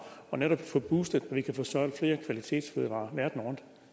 og netop få boostet vi kan få solgt flere kvalitetsfødevarer verden rundt